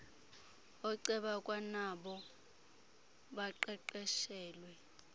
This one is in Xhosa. ooceba kwanabo baqeqeshelwe